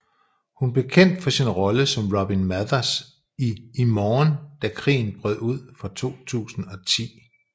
Hun blev kendt for sin rolle som Robyn Mathers i I morgen da krigen brød ud fra 2010